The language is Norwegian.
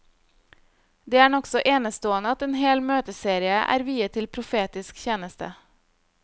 Det er nokså enestående at en hel møteserie er viet til profetisk tjeneste.